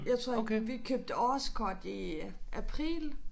Jeg tror vi købte årskort i april